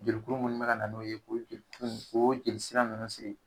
Joli kuru munnu be ka na n'olu ye o joli sira nunnu sigi.